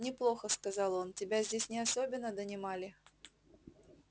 неплохо сказал он тебя здесь не особенно донимали